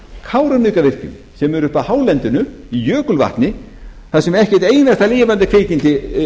kárahnjúkavirkjun kárahnjúkavirkjun sem er uppi á hálendinu í jökulvatn þar sem ekki eitt einasta lifandi kvikindi